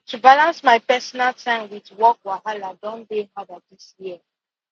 to balance my personal time with work wahala don dey harder this year